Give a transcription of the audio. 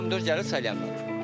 Bu pomidor gəlir Salyandan.